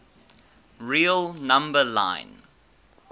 real number line